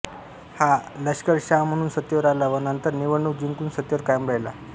हा लश्करशहा म्हणून सत्तेवर आला व नंतर निवडणूक जिंकून सत्तेवर कायम राहिला